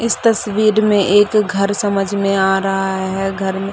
इस तस्वीर में एक घर समझ में आ रहा है घर में --